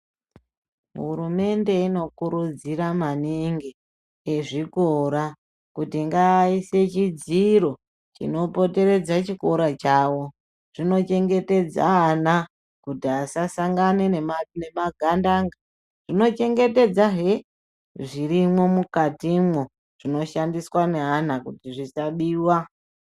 Hurumende inokurudzira maningi antu ezvikora kuti ngaaise chidziro chinopoteredza chikora chawo zvinochengetedze ana kuti asasangane nema gandanga zvinochengetedza he zvirimwo mukatimwo zvinoshandiswa neana kuti zvisabiwa .